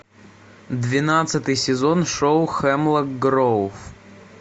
двенадцатый сезон шоу хемлок гроув